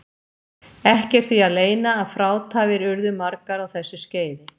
Ekki er því að leyna að frátafir urðu margar á þessu skeiði.